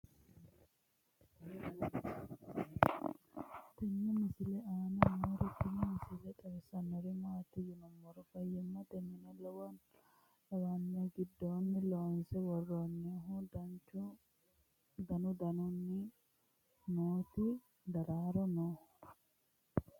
tenne misile aana noorina tini misile xawissannori maati yinummoro fayiimmatte minne lawanno giddonni loonse woroonnihu dannu danunkunni nootti daraaro noo